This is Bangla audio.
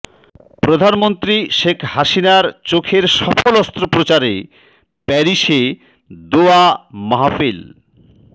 প্রধানমন্ত্রী শেখ হাসিনার চোখের সফল অস্ত্রোপচারে প্যারিসে দোয়া মাহফিল